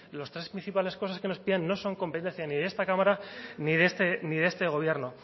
las tres principales cosas que nos piden no son competencia ni de esta cámara ni de este gobierno